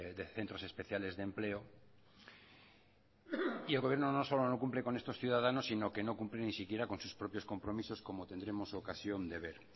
de centros especiales de empleo y el gobierno no solo no cumple con estos ciudadanos sino que no cumple ni siquiera con sus propios compromisos como tendremos ocasión de ver